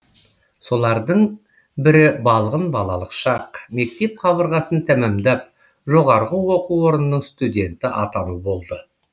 солардың бірі балғын балалық шақ мектеп қабырғасын тәмамдап жоғарғы оқу орнының студенті атану болды